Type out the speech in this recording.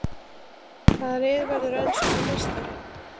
Hvaða lið verður enskur meistari?